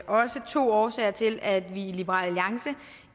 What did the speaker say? også to årsager til at vi i liberal alliance